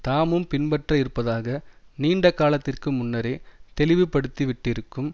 தாமும் பின்பற்ற இருப்பதாக நீண்ட காலத்திற்கு முன்னரே தெளிவுபடுத்தி விட்டிருக்கும்